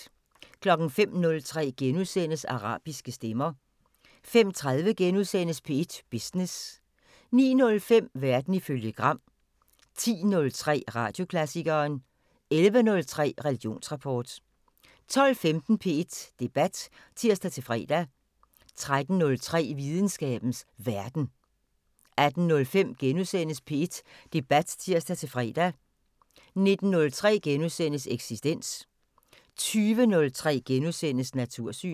05:03: Arabiske stemmer * 05:30: P1 Business * 09:05: Verden ifølge Gram 10:03: Radioklassikeren 11:03: Religionsrapport 12:15: P1 Debat (tir-fre) 13:03: Videnskabens Verden 18:05: P1 Debat *(tir-fre) 19:03: Eksistens * 20:03: Natursyn *